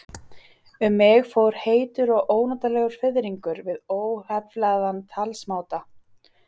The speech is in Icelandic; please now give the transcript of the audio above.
Um mig fór heitur og ónotalegur fiðringur við óheflaðan talsmáta